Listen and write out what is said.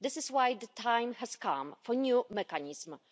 This is why the time has come for a new mechanism.